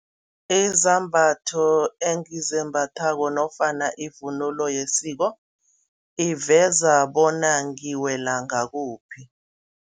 Izambatho engizembathako nofana ivunulo yesiko, iveza bona ngiwela ngakuphi.